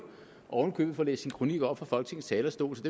og oven i købet få læst sin kronik op fra folketingets talerstol så